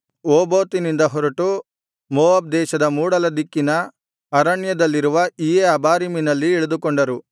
ಓಬೋತಿನಿಂದ ಹೊರಟು ಮೋವಾಬ್ ದೇಶದ ಮೂಡಲ ದಿಕ್ಕಿನ ಅರಣ್ಯದಲ್ಲಿರುವ ಇಯ್ಯೇ ಅಬಾರೀಮಿನಲ್ಲಿ ಇಳಿದುಕೊಂಡರು